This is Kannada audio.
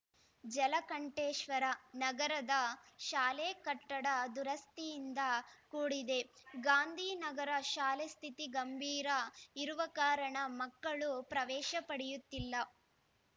ಜಲಕಂಠೇಶ್ವರ ನಗರದ ಶಾಲೆ ಕಟ್ಟಡ ದುರಸ್ತಿಯಿಂದ ಕೂಡಿದೆ ಗಾಂಧಿನಗರ ಶಾಲೆ ಸ್ಥಿತಿ ಗಂಭೀರ ಇರುವ ಕಾರಣ ಮಕ್ಕಳು ಪ್ರವೇಶ ಪಡೆಯುತ್ತಿಲ್ಲ